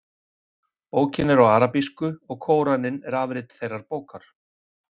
bókin er á arabísku og kóraninn er afrit þessarar bókar